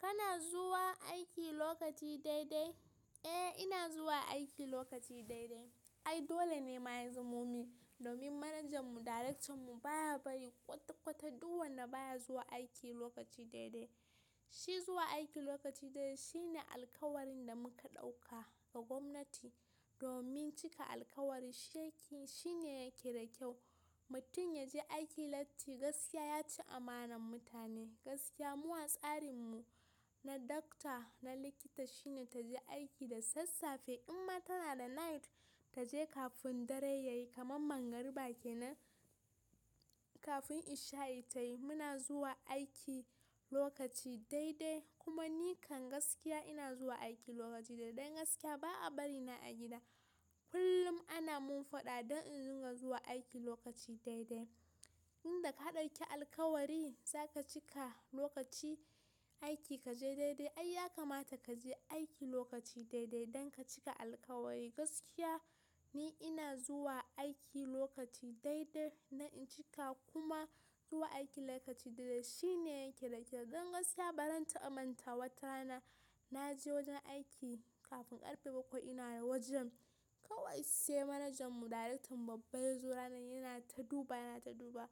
Kana zuwa aiki lokaci daidai? Eh! Ina zuwa aiki lokaci daidai. Ai dole ne ma ya zo momin domin manajanmu, darektan mu baya bari kwata-kwata du wanda baya zuwa aiki lokaci daidai. Shi zuwa aiki lokaci daidai shine alkawarin da muka ɗauka ga gwamnati domin cika alkawari shine yake da kyau. Mutum ya je aiki latti, gaskiya ya ci amanan mutane. Gaskiya mu a tsarin mu. Na doctor na likita shine ta je aiki da sassafe, ihhmma tana da night ta je kafin dare ya yi kaman mangariba kenan kafun ish-sha'i tayi. Muna zuwa aiki lokaci daidai kuma ni kan gaskiya ina zuwa aiki lokaci daidai. Dan gaskiya ba a bari na a gida. Kullum ana mun faɗa don in zinga zuwa aiki lokaci daidai. Inda ka ɗauki alkawari za ka cika lokaci aiki kaje daidai. Ai ya kamata ka je aiki lokaci daidai don ka cika alkawari. Gaskiya ni ina zuwa aiki lokaci daidai na in cika kuma zuwa aiki lokaci daidai shine yake da kyau. Don gaskiya, baran ta amanta wata rana na je wajen aiki kafin karfe bakwai ina wajen. Kawai sai manajan mu darektan mu babba ya zo ranan yana ta duba yana ta duba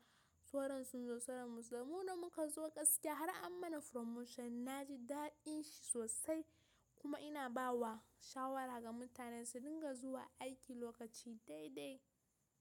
sauran sun zo sauran ba su zo. Mu nan muka zo gaskiya har an mana promotion. Na ji dadin shi sosai kuma ina ba wa shawara ga mutane su dinga zuwa aiki lokaci daidai.